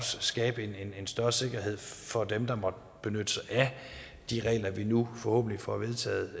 skabe en større sikkerhed for dem der måtte benytte sig af de regler vi nu forhåbentlig får vedtaget